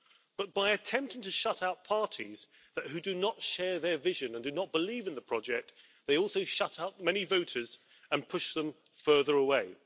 But by attempting to shut out parties that do not share their vision and do not believe in the project, they also shut up many voters and push them further away.